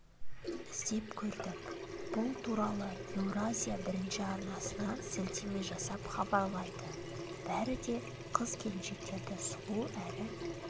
іздеп көрдік бұл туралы еуразия бірінші арнасына сілтеме жасап хабарлайды бәрі де қыз-келіншектерді сұлу әрі